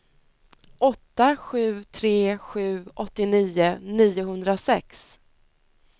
åtta sju tre sju åttionio niohundrasex